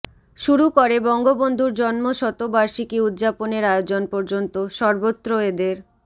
শুরু করে বঙ্গবন্ধুর জন্মশতবার্ষিকী উদযাপনের আয়োজন পর্যন্ত সর্বত্র এদের